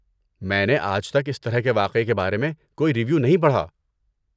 میں نے آج تک اس طرح کے واقعے کے بارے میں کوئی ریویو نہیں پڑھا۔